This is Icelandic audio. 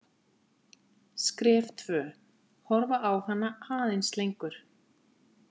Skref tvö: Horfa á hana aðeins lengur.